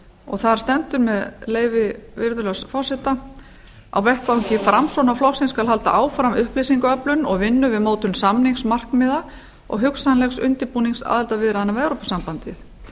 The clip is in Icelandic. og þar stendur með leyfi virðulegs forseta á vettvangi framsóknarflokksins skal halda áfram upplýsingaöflun og vinnu við mótun samningsmarkmiða og hugsanlegs undirbúnings aðildarviðræðna við evrópusambandið